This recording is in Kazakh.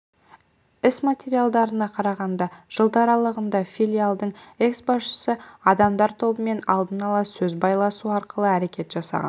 іс материалдарына қарағанда жылдар аралығында филиалдың экс-басшысы адамдар тобымен алдын ала сөз байласу арқылы әрекет жасаған